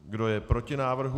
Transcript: Kdo je proti návrhu?